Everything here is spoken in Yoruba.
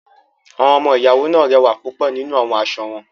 Awọn ọmọ-iyawo naa rẹwa pupọ ninu awọn aṣọ wọn.